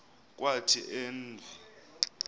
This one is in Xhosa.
kwathi en v